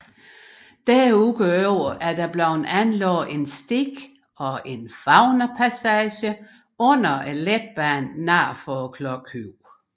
Derudover er der blevet anlagt en sti og en faunapassage under letbanen nord for Klokhøjen